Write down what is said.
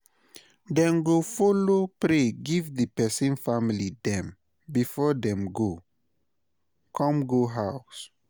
dem go follow pray giv di pesin family dem bifor dem go con go ouse